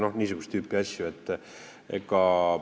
Noh, niisugust tüüpi asjad.